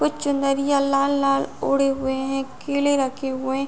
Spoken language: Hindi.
कुछ चुनरिया लाला लाला ओढ़े हुए हैं। केले रखे हुए --